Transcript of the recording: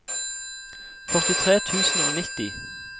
førtitre tusen og nitti